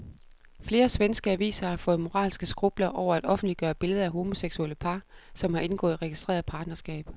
Flere svenske aviser har fået moralske skrupler over at offentliggøre billeder af homoseksuelle par, som har indgået registreret partnerskab.